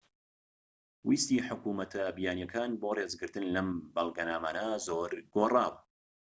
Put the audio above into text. ویستی حکومەتە بیانیەکان بۆ ڕێزگرتن لەم بەڵگەنامانە زۆر گۆڕاوە